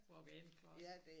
Walk in closet